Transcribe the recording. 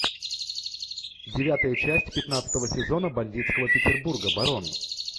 девятая часть пятнадцатого сезона бандитского петербурга барон